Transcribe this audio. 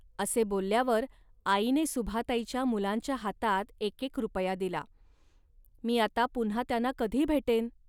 असे बोलल्यावर आईने सुभाताईच्या मुलांच्या हातात एकेक रुपया दिला. मी आता पुन्हा त्यांना कधी भेटेन